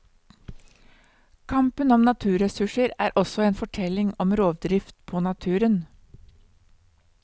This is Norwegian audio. Kampen om naturressurser er også en fortelling om rovdrift på naturen.